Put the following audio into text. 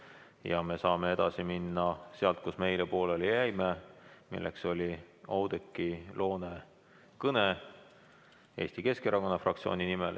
Ja me saame edasi minna sealt, kus me eile pooleli jäime, milleks oli Oudekki Loone kõne Eesti Keskerakonna fraktsiooni nimel.